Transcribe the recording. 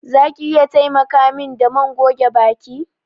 Za ki iya taimaka min da man goge baki?